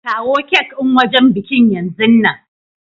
Kawo cak din wajen bikin yanzun nan!